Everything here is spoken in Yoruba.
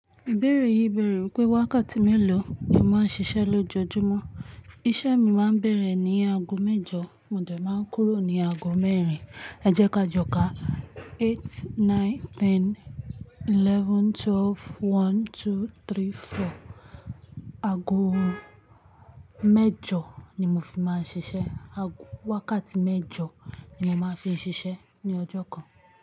Ìbéèrè yìí bèèrè wípé wákàtí mélòó ni ó máa ń ṣiṣẹ́ lójoojúmọ́. Iṣẹ́ mi máa ń bẹ̀rẹ̀ ní aago mẹ́jọ mo dẹ̀ máa ń kúrò ní aago mẹ́rin. Ẹ jẹ́ ká jọ ká eight, nine, ten, eleven, twelve, one, two, three, four. Aago mẹ́jọ ni mo fi máa ń ṣiṣẹ́. Aago wákàtí mẹ́jọ ni mo máa fi ń ṣiṣẹ́ ní ọjọ́ kan.